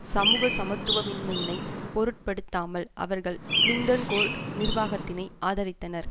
சமூக சமத்துவமின்மையினைப் பொருட்படுத்தாமல் அவர்கள் கிளிண்டன்கோர் நிர்வாகத்தினை ஆதரித்தனர்